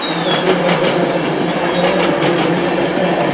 इस तस्वीर में ढेर सारी कुर्सी दिखाई दे रहे हैं जो ब्लू ग्रीन कलर के है।